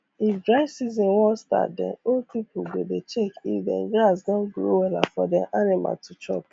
if dry season wan startdem old pipu go dey check if dem grass don grow wella for dem animal to chop